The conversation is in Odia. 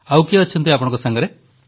ଆଉ କିଏ ଅଛି ଆପଣଙ୍କ ସାଙ୍ଗରେ